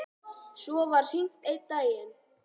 Svo var hringt einn daginn.